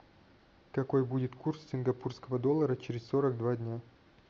какой будет курс сингапурского доллара через сорок два дня